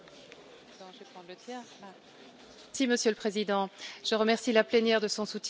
Monsieur le Président, je remercie la plénière pour son soutien massif à cette directive importante.